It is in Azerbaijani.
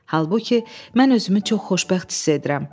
Halbuki mən özümü çox xoşbəxt hiss edirəm.